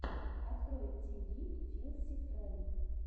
открой ти ви филси фрэнк